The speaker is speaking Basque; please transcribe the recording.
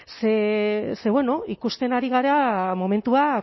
ze bueno ikusten ari gara momentua